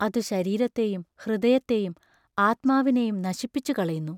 അതു ശരീരത്തെയും ഹൃദയത്തെയും ആത്മാവിനെയും നശിപ്പിച്ചു കളയുന്നു.